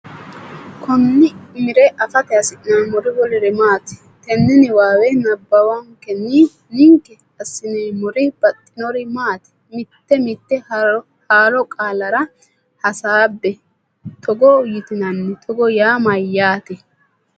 Konni umire afate hasi’neemmori woluri maati? Tenne niwaawe nabbawankenni ninke assineemmori baxxinori maati? Mite mite haaro qaallare hasaabbe; togo yitinanni Togo yaa mayyaate?